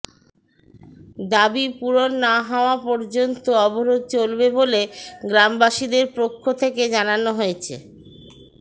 দাবী পূরণ না হওয়া পর্যন্ত অবরোধ চলবে বলে গ্রামবাসীদের পক্ষ থেকে জানানো হয়েছে